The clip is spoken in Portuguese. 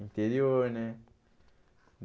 interior, né?